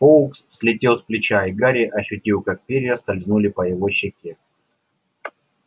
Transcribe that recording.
фоукс слетел с плеча и гарри ощутил как перья скользнули по его щеке